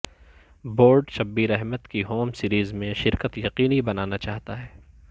board Shabbir Ahmed کی home series میں شرکت یقینی بنانا چاہتا ہے